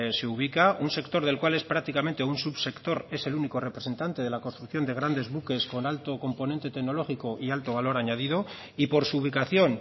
se ubica un sector del cual es prácticamente un subsector es el único representante de construcción de grandes buques con alto componente tecnológico y alto valor añadido y por su ubicación